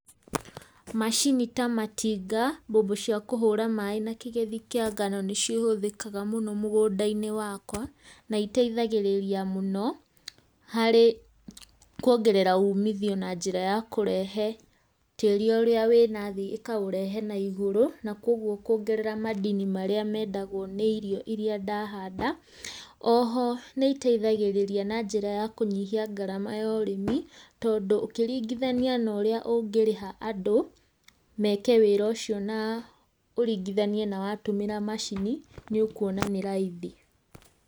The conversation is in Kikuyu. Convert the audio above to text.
Macini ta matinga, mbombo cia kũhũra maĩ na kĩgethi kĩa ngano nĩcihũthĩkaga mũno mũgũnda-inĩ wakwa, na iteithagĩrĩria mũno, harĩ kuongerera umithio na njĩra ya kũrehe tĩri ũrĩa wĩ nathĩ ĩkaũrehe na igũrũ, na koguo kũongerera madini marĩa mendagwo nĩ irio iria ndahanda, o ho nĩitethagĩrĩria na njĩra ya kũnyihia ngarama ya ũrĩmĩ, tondũ ũngĩrĩngithania na ũrĩa ũngĩrĩha andũ meke wĩrĩ ũcio na ũringithanie na watũmĩra macini nĩ ũkuona nĩ raithi.